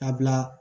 A bila